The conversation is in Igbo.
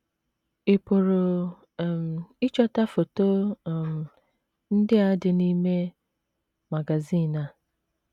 Ị̀ pụrụ um ịchọta foto um ndị a dị a dị n’ime magazin a?